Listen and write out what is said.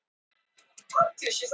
Vaknaði í myrkri